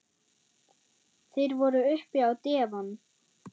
Þeir voru uppi á devon.